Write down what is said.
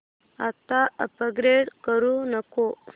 आता अपग्रेड करू नको